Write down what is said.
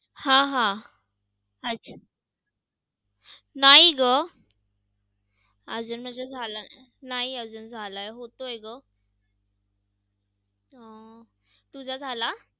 त्या शिवाजी महाराजांना संतांच्या वगैरे गोष्टी सांगू सांगायच्या आणि त्यामुळे शिवाजी महाराज एक एकपराक्रमी बनले.